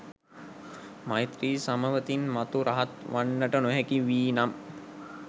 මෛත්‍රී සමවතින් මතු රහත් වන්නට නොහැකි වී නම්